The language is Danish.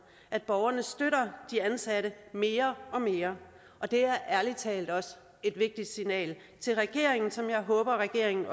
at borgerne støtter de ansatte mere og mere og det er ærlig talt også et vigtigt signal til regeringen som jeg håber regeringen